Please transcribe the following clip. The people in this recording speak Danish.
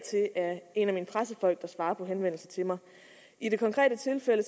en af mine pressefolk der svarer på henvendelser til mig i det konkrete tilfælde